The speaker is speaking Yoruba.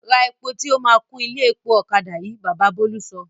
Ra epo tí o máa kún ilé epo ọ̀kadà yìí! Baba Bólú sọ.